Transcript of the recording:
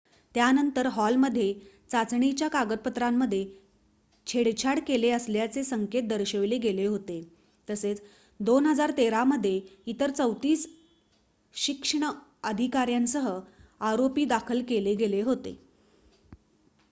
त्यानंतर हॉलमध्ये चाचणीच्या कागदपत्रांमध्ये छेडछाड केले असल्याचे संकेत दर्शवले गेले होते तसेच 2013 मध्ये इतर 34 शिक्ष्ण अधिकार्‍यांसह आरोपी दाखल केले गेले होते